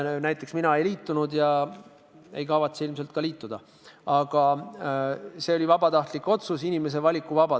Näiteks mina ei liitunud ja ei kavatse ilmselt ka liituda, aga see oli vabatahtlik otsus, inimese vaba valik.